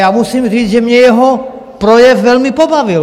Já musím říct, že mě jeho projev velmi pobavil.